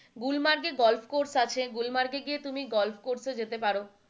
গুলমার্গে golf course আছে গুলমার্গে গিয়ে তুমি গলফ কোর্স যেতে পারো,